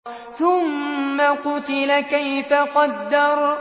ثُمَّ قُتِلَ كَيْفَ قَدَّرَ